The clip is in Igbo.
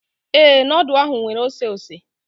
Ee, nudu ahụ nwere oseose.